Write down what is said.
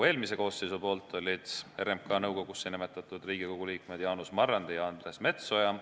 Eelmine koosseis nimetas RMK nõukogusse Riigikogu liikmed Jaanus Marrandi ja Andres Metsoja.